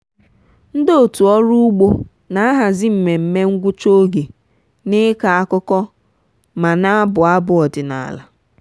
ndị otu ọrụ ugbo na-ahazi mmemme ngwụcha oge na-ịkọ akụkọ ma na-abụ abụ ọdịnala.